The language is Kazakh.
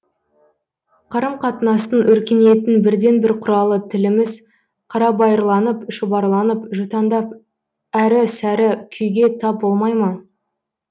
қарым қатынастың өркениеттің бірден бір құралы тіліміз қарабайырланып шұбарланып жұтаңдап әрі сәрі күйге тап болмай ма